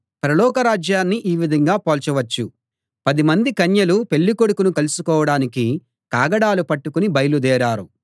పరలోక రాజ్యాన్ని ఈ విధంగా పోల్చవచ్చు పదిమంది కన్యలు పెళ్ళికొడుకును కలుసుకోడానికి కాగడాలు పట్టుకుని బయలుదేరారు